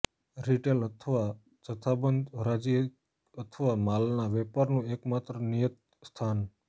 retail અથવા જથ્થાબંધ હરાજી અથવા માલના વેપારનું એકમાત્ર નિયત સ્થાન